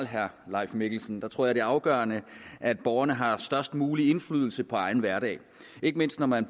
herre leif mikkelsen tror jeg det er afgørende at borgerne har størst mulig indflydelse på egen hverdag ikke mindst når man